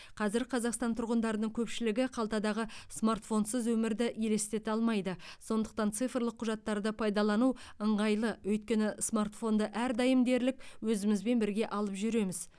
қазір қазақстан тұрғындарының көпшілігі қалтадағы смартфонсыз өмірді елестете алмайды сондықтан цифрлық құжаттарды пайдалану ыңғайлы өйткені смартфонды әрдайым дерлік өзімізбен бірге алып жүреміз